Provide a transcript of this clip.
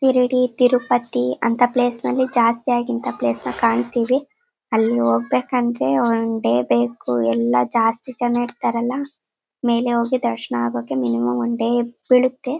Ready ಅಂತೀರೋ ಪತ್ತಿ ಅಂತ ಪ್ಲೇಸ್. ಅಲ್ಲಿ ಜಾಸ್ತಿಯಾಗ್ ಇಂತ ಪ್ಲೇಸ್ ನ ಕಾಣುತೀವಿ. ಅಲ್ಲಿ ಹೋಗ್ಬೇಕ್ ಅಂದ್ರೆ ಒಂದ್ ಡೇ ಬೇಕು. ಎಲ್ಲ ಜಾಸ್ತಿ ಜನ ಇರ್ತಾರಲ್ಲ ಮೇಲೆ ಹೋಗಿ ದರ್ಶನ ಆಗೋಕೆ ಮಿನಿಮಂ ಒನ್ ಡೇ ಬೀಳುತ್ತೆ.